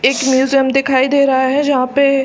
इस म्यूजियम दिखाई दे रहा है जहाँ पे--